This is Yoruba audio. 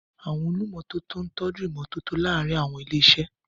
Àwọn olùmọ́tótó ń tọ́jú ìmọ́tótó láàárín àwọn ilé-iṣẹ́.